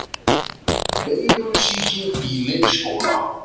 Veirusýking í leikskóla